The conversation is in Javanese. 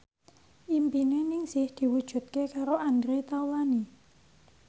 impine Ningsih diwujudke karo Andre Taulany